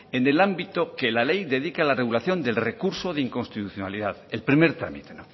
en el ámbito que la ley dedique a la regulación del recurso de inconstitucionalidad el primer trámite